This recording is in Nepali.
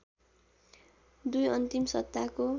२ अन्तिम सत्ताको